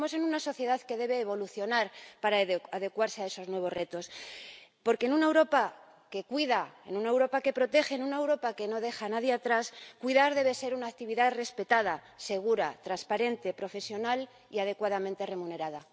Pensemos en una sociedad que debe evolucionar para adecuarse a esos nuevos retos, porque en una Europa que cuida, en una Europa que protege, en una Europa que no deja a nadie atrás, cuidar debe ser una actividad respetada, segura, transparente, profesional y adecuadamente remunerada.